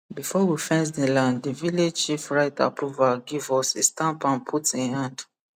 before we fence the land the village chief write approval give us he stamp am put hin hand